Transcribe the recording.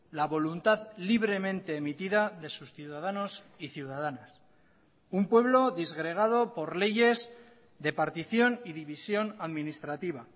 la voluntad libremente emitida de sus ciudadanos y ciudadanas un pueblo disgregado por leyes de partición y división administrativa